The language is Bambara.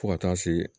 Fo ka taa se